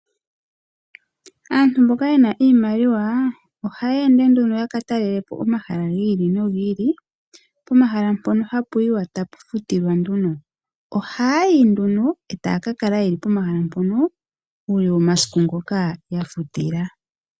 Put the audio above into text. Aantu mboka yena iimaliwa oha ya ende nduno ya ka talelapo omahala gi ili nogi ili pomahala mpono hapu yiwa tapu futilwa . Oha yayi nduno etaya kakala yeli pomahala mpono uule womasiku ngoka ya futila